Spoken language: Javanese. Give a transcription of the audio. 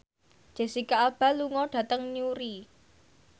Jesicca Alba lunga dhateng Newry